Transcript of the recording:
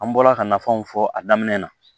An bɔla ka nafanw fɔ a daminɛ na